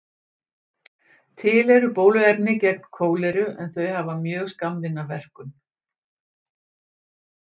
Til eru bóluefni gegn kóleru en þau hafa mjög skammvinna verkun.